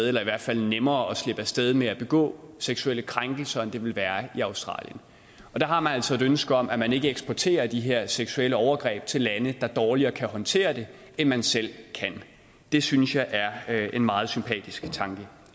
eller i hvert fald nemmere at slippe af sted med at begå seksuelle krænkelser end det ville være i australien og der har man altså et ønske om at man ikke eksporterer de her seksuelle overgreb til lande der dårligere kan håndtere det end man selv kan det synes jeg er en meget sympatisk tanke